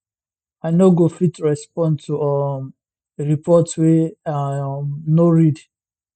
i no go fit respond to um a report wey i um no read